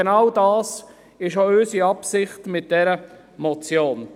Genau dies ist auch unsere Absicht mit dieser Motion.